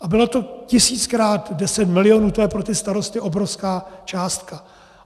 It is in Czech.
A bylo to tisíckrát deset milionů, to je pro ty starosty obrovská částka.